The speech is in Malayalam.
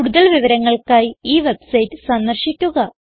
കൂടുതൽ വിവരങ്ങൾക്കായി ഈ വെബ്സൈറ്റ് സന്ദർശിക്കുക